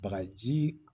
Bagaji